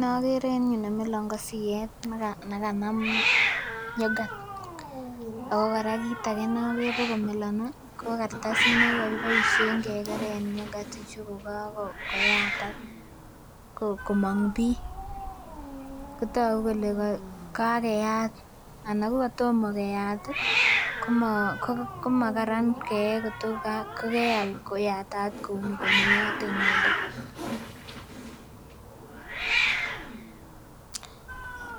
Nokere en yuu nemilon ko siet nekanam yoghurt ako kora kit age nokere komilon ih ko kartasit nokere kokakikeren yoghurt ichu kokakoyatak komomg bii kotogu kole kakeyat ana ko katomo keyat ih komokaran keyee koto kokeal koyatat kouni komeyote inendet.